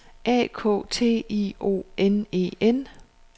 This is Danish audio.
A K T I O N E N